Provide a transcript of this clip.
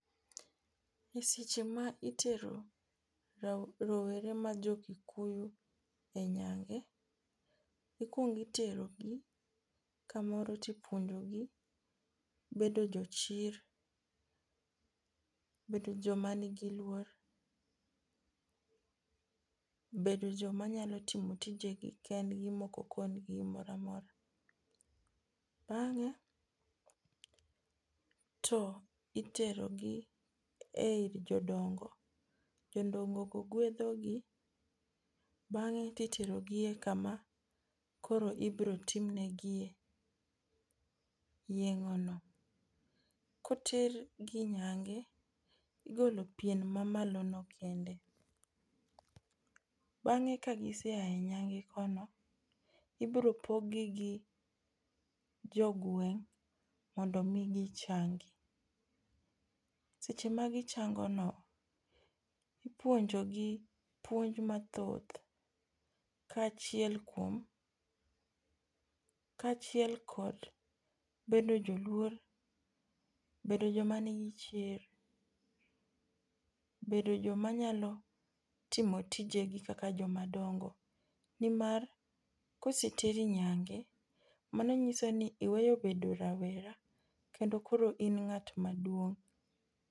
E seche ma itero rowere ma jo kikuyu e nyange, ikwongo iterogi kamoro tipuonjogi bedo jochir, bedo joma nigi luor, bedo joma nyalo timo tijegi kendgi moko okongi gimoro amora. Bang'e to iterogi e ir jodongo, jodongogo gwedhogi bang'e titerogi e kama koro ibrotimnegie yeng'ono. Kotergi nyange, igolo pien mamalono kende, bang'e ka gisea e nyange kono, ibropoggi gi jogweng' mondo omi gichangi. Seche magichango no, ipuonjogi puonj mathoth kaachiel kod bedo joluor, bedo jomanigi chir, bedo jomanyalo timo tijegi kaka jomadongo nimar koseteri nyange, mano nyiso ni iweyo bedo rawera kendo koro in ng'at naduong'.